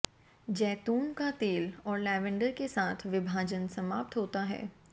जैतून का तेल और लैवेंडर के साथ विभाजन समाप्त होता है